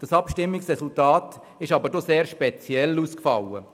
Dieses Abstimmungsresultat fiel indessen recht speziell aus: